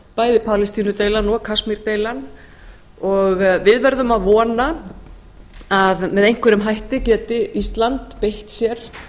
bæði palestínudeilan og kasmírdeilan og við verðum að vona að með einhverjum hætti geti ísland beitt sér